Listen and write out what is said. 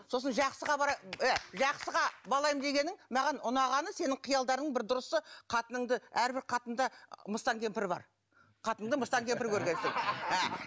сосын жақсыға ы жақсыға балаймын дегенің маған ұнағаны сенің қиялдарың бір дұрысы қатыныңды әрбір қатында мыстан кемпір бар қатынды мыстан кемпір көргенсің